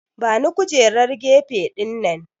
Bani kujerar gefe dinnan!